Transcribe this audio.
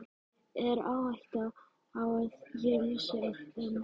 Er áhætta á að ég missi af EM?